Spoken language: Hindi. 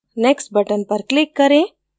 next button पर click करें